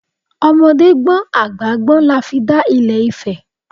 Ọmọdé gbọ́n àgbà gbọ́n la fi dá Ilẹ̀ Ifẹ̀